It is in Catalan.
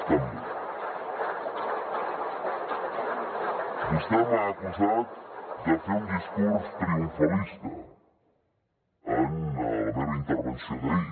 vostè m’ha acusat de fer un discurs triomfalista en la meva intervenció d’ahir